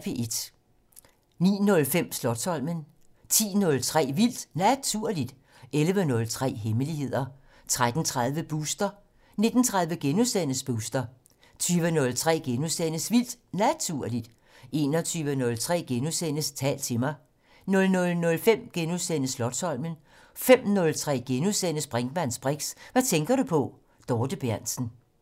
09:05: Slotsholmen 10:03: Vildt Naturligt 11:03: Hemmeligheder 13:30: Booster 19:30: Booster * 20:03: Vildt Naturligt * 21:03: Tal til mig * 00:05: Slotsholmen * 05:03: Brinkmanns briks: Hvad tænker du på? Dorthe Berntsen *